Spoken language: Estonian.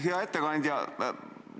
Hea ettekandja!